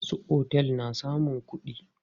Masu otel na samun kuɗi.